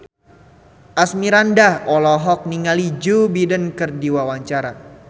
Asmirandah olohok ningali Joe Biden keur diwawancara